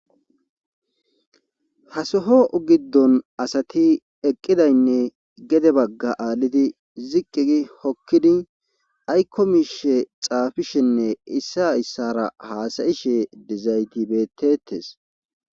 Hasoho giddon asati eqqidaynne gede bagga aallidi ziqqigi hokkidi aykkomishe xaafishenne issa issara haasayishe dezaytibetetes